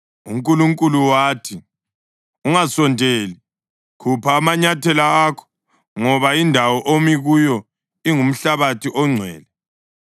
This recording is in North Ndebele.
UNkulunkulu wathi, “Ungasondeli. Khupha amanyathela akho, ngoba indawo omi kuyo ingumhlabathi ongcwele.”